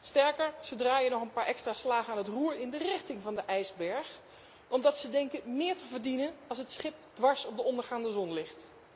Sterker ze draaien nog een paar extra slagen aan het roer in de richting van de ijsberg omdat ze denken meer te verdienen als het schip dwars op de ondergaande zon ligt.